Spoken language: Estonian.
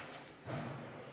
Istungi lõpp kell 01.01.